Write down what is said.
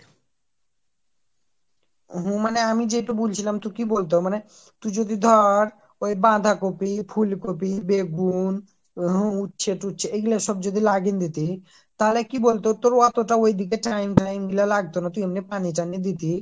হম মানে আমি যেটা বলছিলাম তো কি বলতো মানে তুই যদি ধর ওই বাঁধাকপি, ফুলকপি, বেগুন উচ্ছে তুচ্ছে এই সব যদি লাগিয়ে নিতি তাহলে কি বলতো তোর অতটা ওইদিকে time ফইএম গুলো লাগতো না তুই এমনি পানি টানি দিতি।